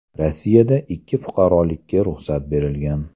Rossiyada ikki fuqarolikka ruxsat berilgan.